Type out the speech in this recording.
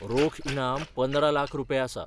रोख इनाम पंदरा लाख रुपये आसा.